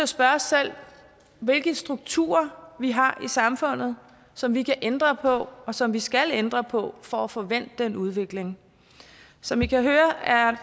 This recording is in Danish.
spørge os selv hvilke strukturer vi har i samfundet som vi kan ændre på og som vi skal ændre på for at få vendt den udvikling som i kan høre er